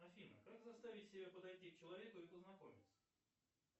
афина как заставить себя подойти к человеку и познакомиться